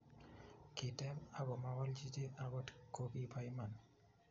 kiteeb ako mawolchi chi akot ko kibo iman